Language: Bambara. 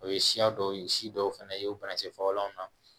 O ye siya dɔw ye si dɔw fɛnɛ ye banakisɛ fagalanw na